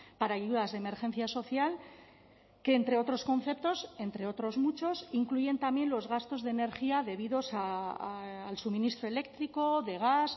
para ayudas de emergencia social que entre otros conceptos entre otros muchos incluyen también los gastos de energía debidos al suministro eléctrico de gas